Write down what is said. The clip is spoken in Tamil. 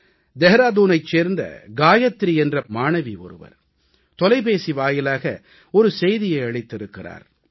டேராடூனைச் சேர்ந்த காயத்ரி என்ற 11ஆம் வகுப்பு படிக்கும் மாணவி ஒருவர் தொலைபேசி வாயிலாக ஒரு செய்தியை அளித்திருக்கிறார்